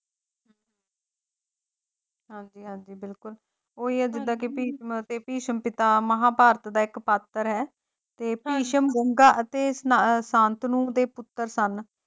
ਹਾਂਜੀ ਹਾਂਜੀ ਬਿਲਕੁਲ ਉਹੀ ਆ ਜਿਦਾਂ ਕੇ ਭਿਸ਼ਮ ਅਤੇ ਭਿਸ਼ਮ ਪਿਤਾਮਾ ਮਹਾਂਭਾਰਤ ਦਾ ਇੱਕ ਪਾਤਰ ਹੈ ਤੇ ਭਿਸ਼ਮ ਗੰਗਾ ਅਤੇ ਸ ਸ਼ਾਂਤਨੂ ਦੇ ਪੁੱਤਰ ਸਨ।